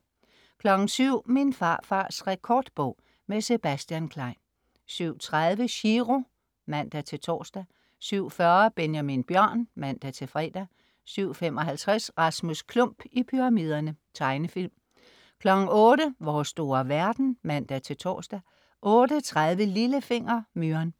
07.00 Min farfars rekordbog. Med Sebastian Klein 07.30 Chiro (man-tors) 07.40 Benjamin Bjørn (man-fre) 07.55 Rasmus Klump i pyramiderne. Tegnefilm 08.00 Vores store verden (man-tors) 08.30 Lillefinger. Myren